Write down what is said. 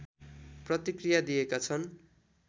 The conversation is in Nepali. प्रतिक्रिया दिएका छन्